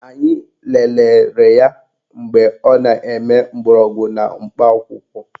Anyị lelere ya mgbe ọ na-eme mgbọrọgwụ na mkpa akwụkwọ